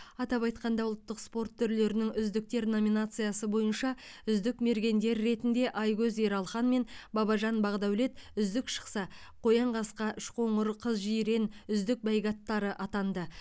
атап айтқанда ұлттық спорт түрлерінің үздіктер номинациясы бойынша үздік мергендер ретінде айкөз ералхан мен бабажан бақдәулет үздік шықса қоянқасқа үшқоңыр қызжирен үздік бәйге аттары атанды